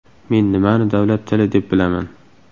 Men nimani davlat tili deb bilaman?